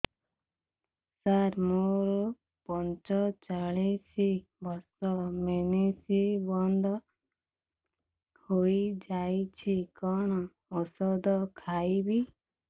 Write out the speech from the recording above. ସାର ମୋର ପଞ୍ଚଚାଳିଶି ବର୍ଷ ମେନ୍ସେସ ବନ୍ଦ ହେଇଯାଇଛି କଣ ଓଷଦ ଖାଇବି